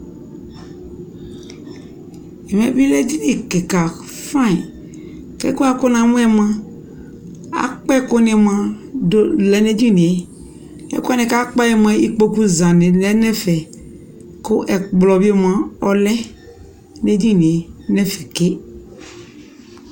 ɛmɛ bi lɛ ɛdini kikaa fine kʋ ɛkʋɛ kʋ namʋɛ mʋa akpa ɛkʋ ni mʋa dʋ lɛnʋ ɛdiniɛ, ɛkʋ wani kʋ akpaɛ mʋa ikpɔkʋ zani lɛnʋ ɛƒɛ kʋ ɛkplɔ bi mʋa ɔlɛnʋɛdiniɛ nɛƒɛ kè